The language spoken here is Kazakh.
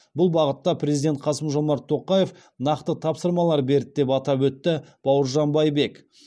бұл бағытта президент қасым жомарт тоқаев нақты тапсырмалар берді деп атап өтті бауыржан байбек